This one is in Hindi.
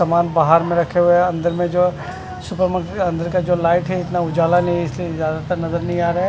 सामान बाहर में रखे हुए हैं अंदर में जो सुपरमार्केट का अंदर का जो लाइट है इतना उजाला नहीं है इसीलिए ज्यादातर नजर नहीं आ रहा है।